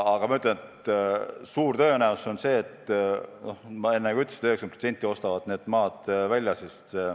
Aga on suur tõenäosus, nagu ma enne ütlesin, et 90% ostab need maad välja.